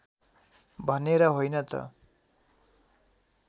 भनेर होइन त